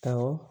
Awɔ